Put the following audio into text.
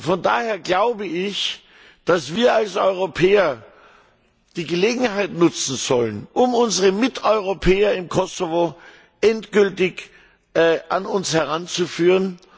Von daher glaube ich, dass wir als Europäer die Gelegenheit nutzen sollen, um unsere Miteuropäer im Kosovo endgültig an uns heranzuführen.